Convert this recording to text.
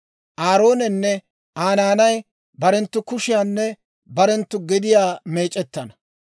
Aaroonenne Aa naanay barenttu kushiyaanne barenttu gediyaa meec'ettana.